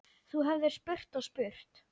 Þú hefðir spurt og spurt.